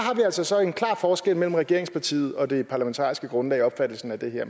altså så en klar forskel mellem regeringspartiet og det parlamentariske grundlag i opfattelsen af det her